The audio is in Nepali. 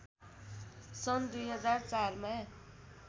सन् २००४ मा